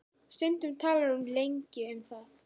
Stundum talar hún lengi um það.